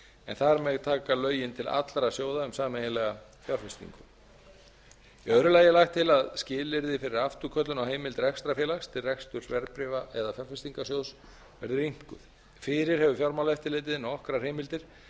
en þar með taka lögin til allra sjóða um sameiginlega fjárfestingu í öðru lagi er lagt til að skilyrði fyrir afturköllun á heimild rekstrarfélags til reksturs verðbréfa eða fjárfestingarsjóðs verði rýmkuð fyrir hefur fjármálaeftirlitið nokkrar heimildir